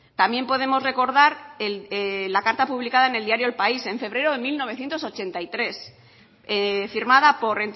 también podemos recordar la carta publicada en el diario el país en febrero de mil novecientos ochenta y tres firmada por